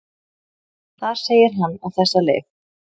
Þar segir hann á þessa leið: